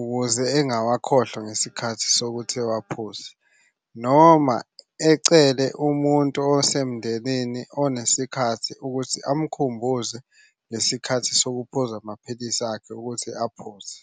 ukuze engawakhohlwa ngesikhathi sokuthi uwaphuze noma ecele umuntu osemndenini onesikhathi ukuthi amkhumbuze lesi khathi sokuphuza amaphilisi akhe ukuthi aphuze.